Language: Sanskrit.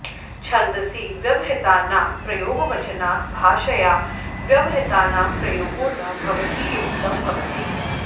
छन्दसि व्यवहितानां प्रयोगवचनात् भाषयां व्यवहितानां प्रयोगो न भवतीत्युक्तं भवति